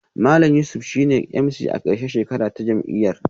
Malam Yusuf shine MC a karshen shekara ta jam'iyyar